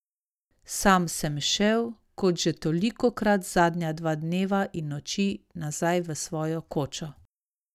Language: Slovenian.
Sam sem šel, kot že tolikokrat zadnja dva dneva in noči, nazaj v svojo kočo.